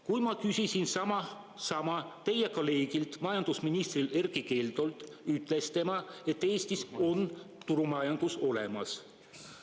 Kui ma küsisin sama teie kolleegilt majandusminister Erkki Keldolt, ütles tema, et Eestis on turumajandus olemas.